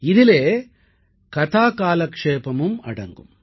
இதிலே கதாகாலக்ஷேபமும் அடங்கும்